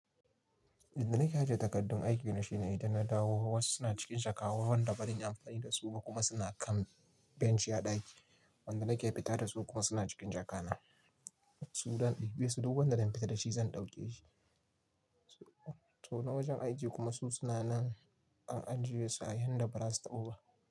Inda nake yi takardun aikin na shine idan na dawo wasu suna cikin jaka wanda baran yi amfani da su ba kuma suna kan benci a ɗaki, wanda nake fita da su kuma suna cikin jaka na. Su daɗaɗɗi, biya su duk wanda na fita da shi zan ɗauke shi. So na wajen aiki kuma su suna nan a anjiye su yayinda ba za su taɓa ba.